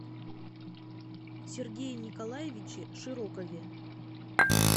сергее николаевиче широкове